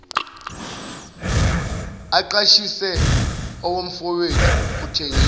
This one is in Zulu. aqashise owomfowethu uthengisa